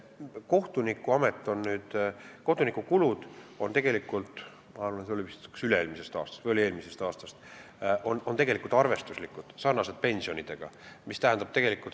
Kohtunikele tehtavad kulutused on – ma arvan, see arvestus on üle-eelmisest või eelmisest aastast – tegelikult arvestuslikud, sarnaselt pensionidega.